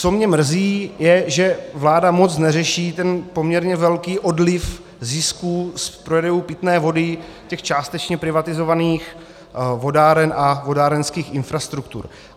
Co mě mrzí, je, že vláda moc neřeší ten poměrně velký odliv zisků z prodejů pitné vody těch částečně privatizovaných vodáren a vodárenských infrastruktur.